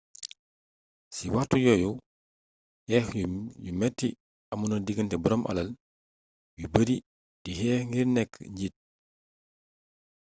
ci waxtu yoyu xeex ju meti amon na diganté borom alal yu beurri di xeex ngir neek njit